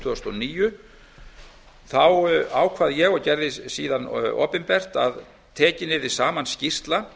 þúsund og níu ákvað ég og gerði síðan opinbert að tekin yrði saman skýrsla